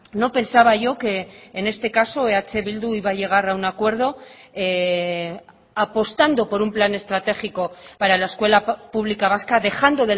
no pensaba yo que en este caso eh bildu iba a llegar a un acuerdo apostando por un plan estratégico para la escuela pública vasca dejando